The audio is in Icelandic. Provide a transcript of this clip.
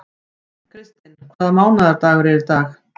Kristinn, hvaða mánaðardagur er í dag?